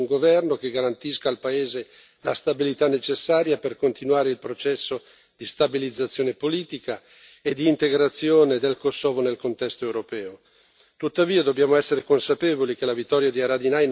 Le nostre aspettative sono naturalmente quelle di vedere nascere un governo che garantisca al paese la stabilità necessaria per continuare il processo di stabilizzazione politica e di integrazione del Kosovo nel contesto europeo.